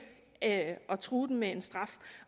at true dem med en straf